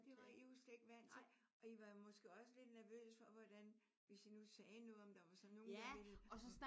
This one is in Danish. Det var I jo slet ikke vant til. Og I var måske også lidt nervøse for hvordan hvis I nu sagde noget om der var så nogen der ville